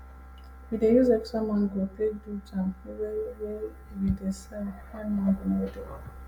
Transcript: we dey use extra mango take do jam wey wey we dey sell when mango no dey